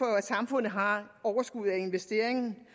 at samfundet har overskud af investeringen